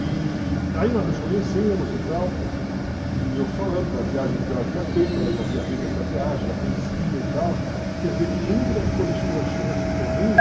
E aí nós nos conhecemos e tal, e eu falando da viagem que eu havia feito, ela já havia feito essa viagem, já conhecia e tal, quer dizer, e entre as coisas que nós tínhamos em comum...